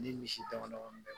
Ni misi dama dama bɛ